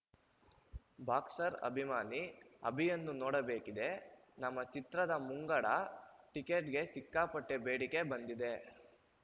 boxer ಅಭಿಮಾನಿ ಅಭಿಯನ್ನು ನೋಡಬೇಕಿದೆ ನಮ್ಮ ಚಿತ್ರದ ಮುಂಗಡ ಟಿಕೆಟ್‌ಗೆ ಸಿಕ್ಕಾಪಟ್ಟೆಬೇಡಿಕೆ ಬಂದಿದೆ